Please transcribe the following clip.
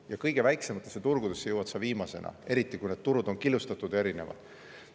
Ja kõige väiksematele turgudele jõuad sa viimasena, eriti kui need turud on killustatud ja erinevad.